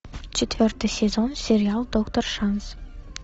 четвертый сезон сериал доктор шанс